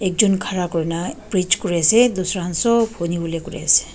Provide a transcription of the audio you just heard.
ekjun khara kurina preach kuri ase tusra kan sob huni volae kure ase.